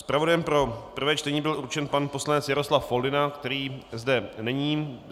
Zpravodajem pro prvé čtení byl určen pan poslanec Jaroslav Foldyna, který zde není.